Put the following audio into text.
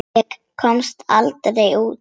Ég komst aldrei út.